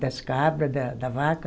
Das cabra, da da vaca.